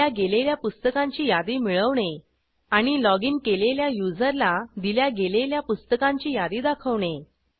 दिल्या गेलेल्या पुस्तकांची यादी मिळवणे आणि लॉगिन केलेल्या युजरला दिल्या गेलेल्या पुस्तकांची यादी दाखवणे